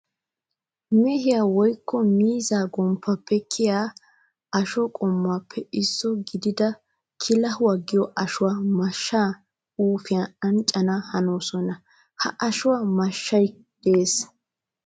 Mehiya woykko miizza gomppappe kiyiya asho qommoppe issuwa gididda kilahuwa giyo ashuwa mashan suufayi anccana hanossonna. Ha ashuwan mashshay de'ees.